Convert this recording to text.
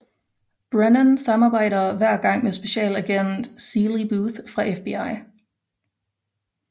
Brennan samarbejder hver gang med Specialagent Seeley Booth fra FBI